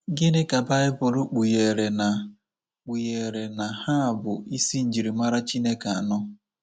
Gịnị ka baịbụl kpugheere na kpugheere na ha bụ isi njirimara Chineke anọ?